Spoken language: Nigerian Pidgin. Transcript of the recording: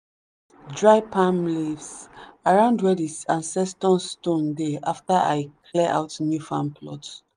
i put dry palm leaves around where the ancestor stone dey after i clear out new farm plot.